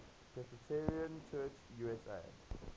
presbyterian church usa